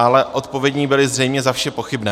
Ale odpovědní byli zřejmě za vše pochybné.